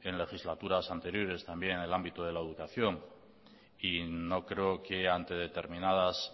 en legislaturas anteriores también en el ámbito de la educación y no creo que ante determinadas